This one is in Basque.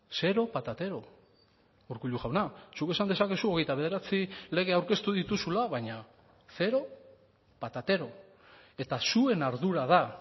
zero patatero urkullu jauna zuk esan dezakezu hogeita bederatzi lege aurkeztu dituzula baina zero patatero eta zuen ardura da